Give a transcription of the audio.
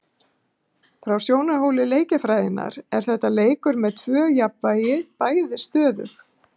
Frá sjónarhóli leikjafræðinnar er þetta leikur með tvö jafnvægi, bæði stöðug.